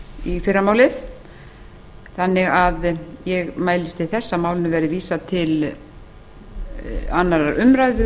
í fyrramálið þannig að ég mælist til þess að málinu verði vísað til annarrar umræðu